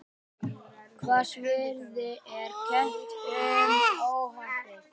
Hvassviðri er kennt um óhappið